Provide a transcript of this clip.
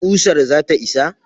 ƙusar zata isa?